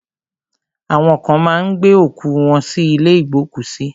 Awọn kan má ń gbé òkú wọ́n sí ilé ìgbókùsí.